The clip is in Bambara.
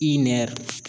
I nɛr